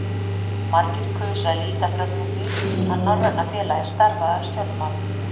Margir kusu að líta framhjá því, að Norræna félagið starfaði að stjórnmálum.